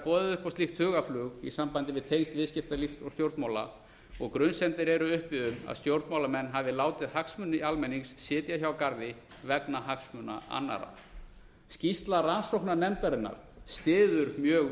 boðið upp á slíkt hugarflug í sambandi við tengsl viðskiptalífs og stjórnmála og grunsemdir eru uppi um að stjórnmálamenn hafa látið hagsmuni almennings sitja hjá garði vegna hagsmuna annarra skýrsla rannsóknarnefndarinnar styður mjög